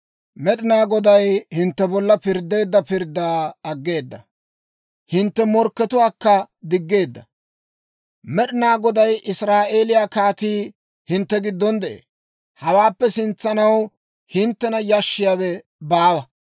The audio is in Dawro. Med'inaa Goday hintte bolla pirddeedda pirddaa aggeeda; hintte morkkatuwaakka diggeedda. Med'inaa Goday, Israa'eeliyaa Kaatii, hintte giddon de'ee; hawaappe sintsanaw hinttena yashissiyaawe baawa.